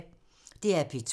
DR P2